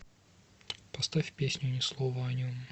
поставь песню ни слова о нем